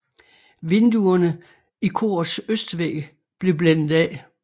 Vinduerne i korets østvæg blev blændet af